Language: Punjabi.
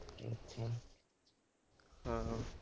ਅੱਛਾ ਹਾਂ ਹਾਂ